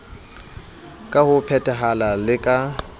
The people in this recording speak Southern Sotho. ka ho phethahala le ka